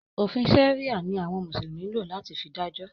Òfin sẹ̀ríà ni àwọn mùsùlùmí ń lò fi dájọ́.